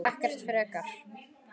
Ekkert frekar.